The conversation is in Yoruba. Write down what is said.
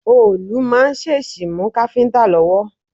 Òòlù máa ń ṣèṣì mú káfíntà lọ́wọ́.